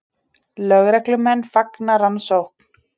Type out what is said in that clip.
Lögreglumenn fagna rannsókn